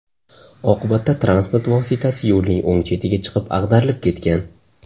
Oqibatda transport vositasi yo‘lning o‘ng chetiga chiqib ag‘darilib ketgan.